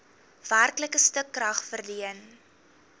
werklike stukrag verleen